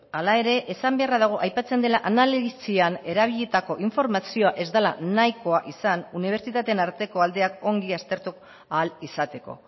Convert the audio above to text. hala ere esan beharra dago aipatzen dela analisian erabilitako informazioa ez dela nahikoa izan unibertsitateen arteko aldeak ongi aztertu ahal izateko